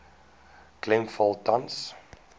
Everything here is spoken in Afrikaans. klem val tans